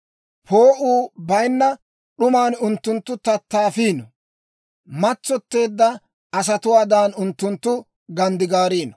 Poo'uu bayinna d'uman unttunttu tattaafiino; matsotteedda asatuwaadan unttunttu ganddigaariino.